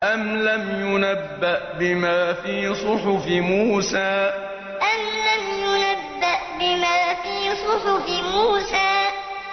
أَمْ لَمْ يُنَبَّأْ بِمَا فِي صُحُفِ مُوسَىٰ أَمْ لَمْ يُنَبَّأْ بِمَا فِي صُحُفِ مُوسَىٰ